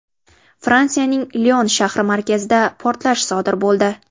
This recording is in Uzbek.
Fransiyaning Lion shahri markazida portlash sodir bo‘ldi.